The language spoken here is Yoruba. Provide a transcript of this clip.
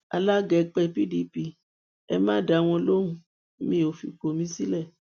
alága ẹgbẹ pdp ẹ má dá wọn lóhùn mi ò fipò mi sílẹ